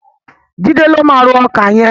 Jídé ló máa ró ọkà yẹn.